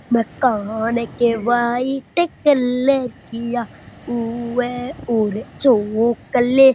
होने के white colour किया उवे और चॉकलेट ।